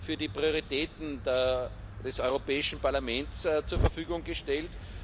für die Prioritäten des Europäischen Parlaments zur Verfügung gestellt.